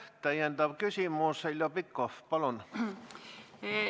Täpsustav küsimus, Heljo Pikhof, palun!